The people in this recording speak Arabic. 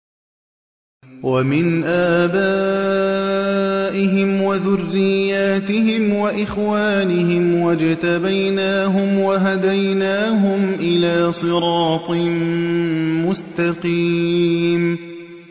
وَمِنْ آبَائِهِمْ وَذُرِّيَّاتِهِمْ وَإِخْوَانِهِمْ ۖ وَاجْتَبَيْنَاهُمْ وَهَدَيْنَاهُمْ إِلَىٰ صِرَاطٍ مُّسْتَقِيمٍ